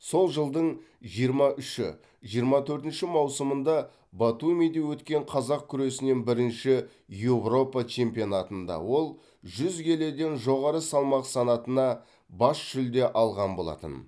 сол жылдың жиырма үші жиырма төртінші маусымында батумиде өткен қазақ күресінен бірінші европа чемпионатында ол жүз келіден жоғары салмақ санатына бас жүлде алған болатын